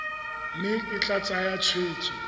mme e tla tsaya tshwetso